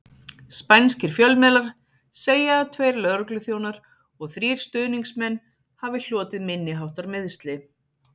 Spænskir fjölmiðlar segja að tveir lögregluþjónar og þrír stuðningsmenn hafi hlotið minniháttar meiðsli.